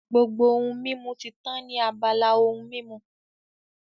Gbogbo ohun mímu ti tán ní abala ohun mímu